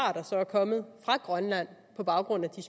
kommet fra grønland på baggrund af de